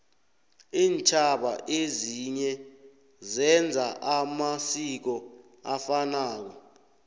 intjhaba ezinye zenza amasiko afanako